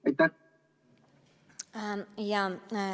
Või mitte?